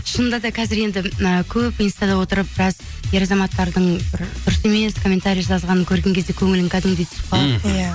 шынында да қазір енді ы көп инстада отырып біраз ер азаматтардың бір дұрыс емес комментария жазғанын көрген кезде көңілің кәдімгідей түсіп қалады иә